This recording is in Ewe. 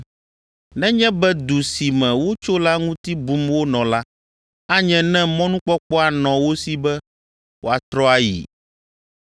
Nenye be du si me wotso la ŋuti bum wonɔ la, anye ne mɔnukpɔkpɔ anɔ wo si be woatrɔ ayi.